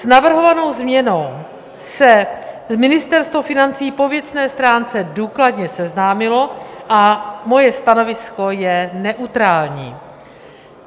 S navrhovanou změnou se Ministerstvo financí po věcné stránce důkladně seznámilo a moje stanovisko je neutrální.